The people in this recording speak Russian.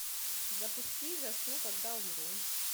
запусти засну когда умру